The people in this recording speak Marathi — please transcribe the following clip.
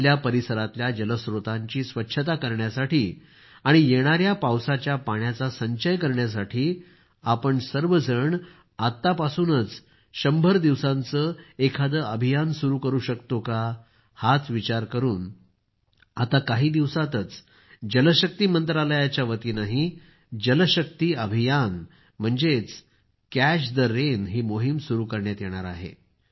आपल्या परिसरातल्या जलस्त्रोतांची स्वच्छता करण्यासाठी आणि येणाया पावसाच्या पाण्याचा संचय करण्यासाठी आपण सर्वजण आत्तापासूनच 100 दिवसांचं एखादं अभियान सुरू करू शकतो का हाच विचार करून आता काही दिवसांतच जलशक्ती मंत्रालयाच्यावतीनंही जल शक्ती अभियान म्हणजेच कॅच द रेन ही सुरू करण्यात येणार आहे